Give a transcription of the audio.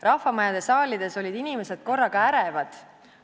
Rahvamajade saalides olid inimesed korraga ärevad.